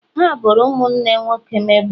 ha boro ụmụnne nwoke m ebubo.